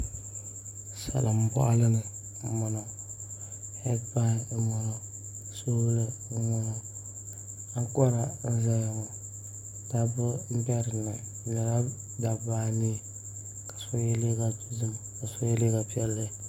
Salin boɣali ni n boŋo heed pai n boŋo soobuli n boŋo ankora n ʒɛya ŋo dabba n bɛ dinni bi nyɛla dabba anii ka so yɛ liiga dozim ka so yɛ liiga piɛlli